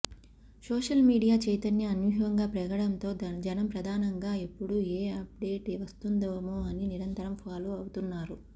social media చైతన్యం అనూహ్యంగా పెరగడంతో జనం ప్రధానంగా ఎప్పుడు ఏ అప్డేట్ వస్తుందేమో అని నిరంతరం ఫాలో అవుతున్నారు